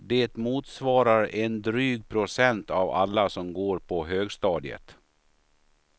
Det motsvarar en dryg procent av alla som går på högstadiet.